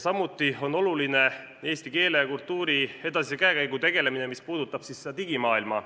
Samuti on oluline eesti keele ja kultuuri edasise käekäiguga tegelemine, mis puudutab digimaailma.